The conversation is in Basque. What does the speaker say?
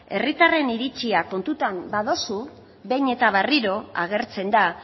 hiritarren iritzia kontutan baduzu behin eta berriro agertzen da